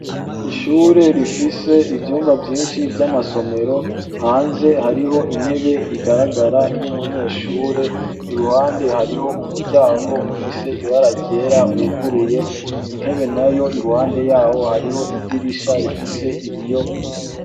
Ishure rifise ivyumba vyinshi vy'amasomero, hanze hariho intebe igaragara y'umunyeshure, iruhande hariho umuryango ufise ibara ryera wuguruye, intebe nayo iruhande yawo hariho idirisha rifise ibiyo.